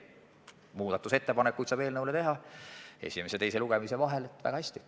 Muudatusettepanekuid saab ju esimese ja teise lugemise vahel vabalt teha.